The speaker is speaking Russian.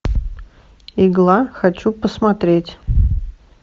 игла хочу посмотреть